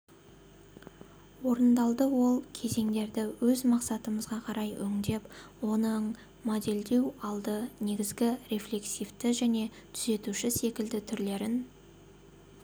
орындалдыол кезеңдерді өз мақсатымызға қарай өңдеп оның модельдеу алды негізгі рефлексивті және түзетуші секілді түрлерін